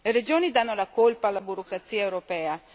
Le regioni danno la colpa alla burocrazia europea